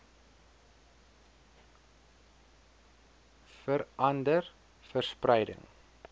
vera nder verspreiding